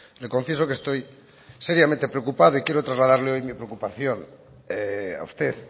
le confieso que estoy seriamente preocupado y quiero trasladarle hoy mi preocupación a usted